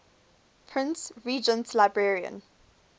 prince regent's librarian